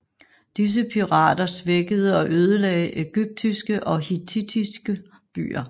Disse pirater svækkede og ødelagde egyptiske og hettittiske byer